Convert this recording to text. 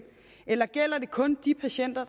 eller gælder den kun de patienter